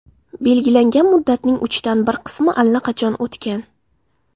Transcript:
Belgilangan muddatning uchdan bir qismi allaqachon o‘tgan.